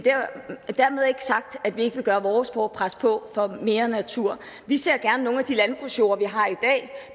dermed ikke sagt at vi ikke vil gøre vores for at presse på for at få mere natur vi ser gerne at nogle af de landbrugsjorde vi har i